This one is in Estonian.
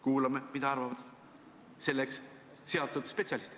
Kuulame, mida arvavad selle valdkonna spetsialistid.